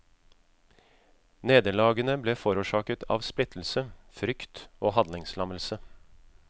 Nederlagene ble forårsaket av splittelse, frykt og handlingslammelse.